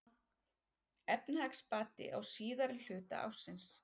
Efnahagsbati á síðari hluta ársins